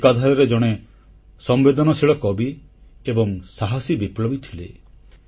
ସେ ଏକାଧାରାରେ ଜଣେ ସମ୍ବେଦନଶୀଳ କବି ଏବଂ ସାହାସୀ ବିପ୍ଳବୀ ଥିଲେ